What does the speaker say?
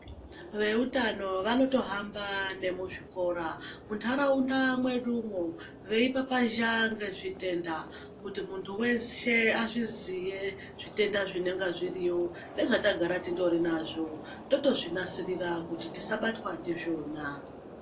Vantu veutano vanotohamba nemukuzvikora muntaraunda mwedumwo veipapazha ngezvezvitenda kuti muntu weshe azviziye zvitenda zvinenge zviriyo nezvatagara tindorinazvo totozvinasirira kuti tisabatwa ndizvona.